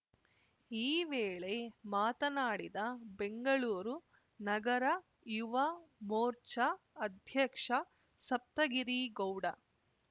ಈ ವೇಳೆ ಮಾತನಾಡಿದ ಬೆಂಗಳೂರು ನಗರ ಯುವ ಮೋರ್ಚಾ ಅಧ್ಯಕ್ಷ ಸಪ್ತಗಿರಿ ಗೌಡ